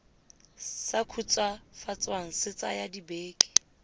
sa khutswafatswang se tsaya dibeke